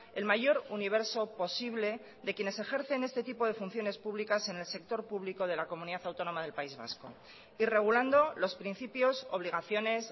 el mayor universo posible de quienes ejercen este tipo de funciones públicas en el sector público de la comunidad autónoma del país vasco y regulando los principios obligaciones